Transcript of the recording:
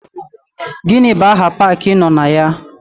Gịnị bụ aha paakị ị nọ na ya?